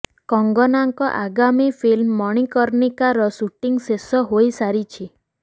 କଙ୍ଗନାଙ୍କ ଆଗାମୀ ଫିଲ୍ମ ମଣିକର୍ଣ୍ଣିକା ର ସୁଟିଂ ଶେଷ ହୋଇସାରିଛି